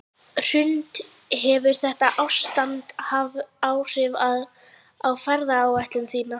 Hrund: Hefur þetta ástand haft áhrif á ferðaáætlun þína?